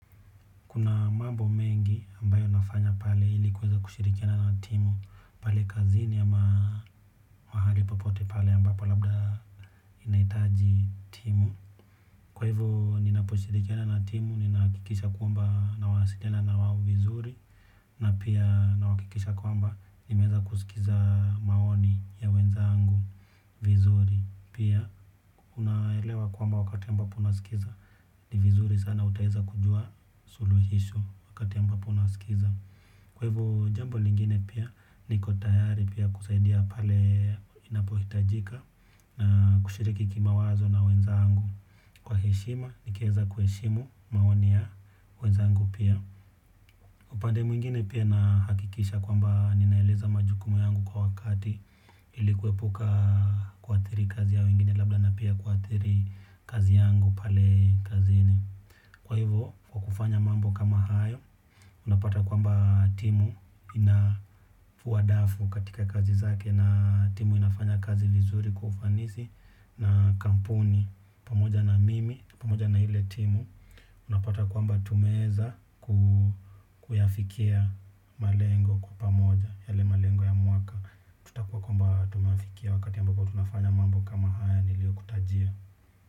Kuna mambo mengi ambayo nafanya pale ili kuweza kushirikiana na timu pale kazini ama mahali popote pale ambapo labda inahitaji timu. Kwa hivyo ninaposhirikiana na timu, ninahakikisha kwamba nasaidiana na wao vizuri na pia nahakikisha kwamba nimeweza kusikiza maoni ya wenzangu vizuri. Pia unaelewa kwamba wakati ambapo unasikiza, ni vizuri sana utaweza kujua suluhisho wakati ambapo unasikiza. Kwa hivyo, jambo lingine pia niko tayari pia kusaidia pale inapohitajika. Na kushiriki kimawazo na wenzangu kwa heshima nikiweza kuheshimu maoni ya wenzangu pia. Upande mwingine pia nahakikisha kwamba ninaeleza majukumu yangu kwa wakati ili kuepuka kuathiri kazi ya wengine labda na pia kuathiri kazi yangu pale kazini kwa hivyo kwa kufanya mambo kama hayo unapata kwamba timu inafua dafu katika kazi zake na timu inafanya kazi vizuri kwa ufanisi na kampuni pamoja na mimi pamoja na ile timu unapata kwamba tumeweza kuyafikia malengo kwa pamoja yale malengo ya mwaka. Tutakuwa kwamba tumefikia wakati ambapo tunafanya mambo kama haya niliyokutajia.